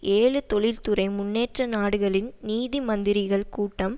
ஏழு தொழில் துறை முன்னேற்ற நாடுகளின் நிதி மந்திரிகள் கூட்டம்